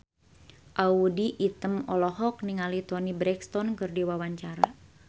Audy Item olohok ningali Toni Brexton keur diwawancara